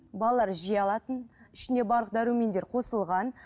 балалар жей алатын ішінде барлық дәрумендер қосылған